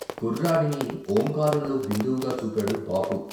కుర్రాడిని ఓంకారంలో బిందువుగా చూపాడు బాపు.